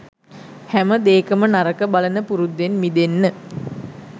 හැම දේකම නරක බලන පුරුද්දෙන් මිදෙන්න